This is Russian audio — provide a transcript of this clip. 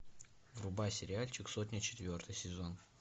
врубай сериальчик сотня четвертый сезон